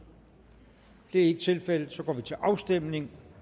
det er ikke tilfældet så går vi til afstemning